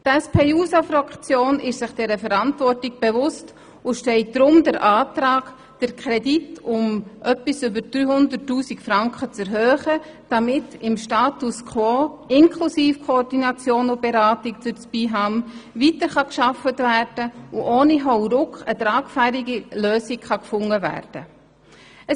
Die SP-JUSO-PSA-Fraktion ist sich der Verantwortung bewusst und stellt deshalb den Antrag, den Kredit um etwas mehr als 300 000 Franken zu erhöhen, damit der Status quo, inklusive Koordination und Beratung durch das BIHAM, beibehalten und ohne Hauruck eine tragfähige Lösung gefunden werden kann.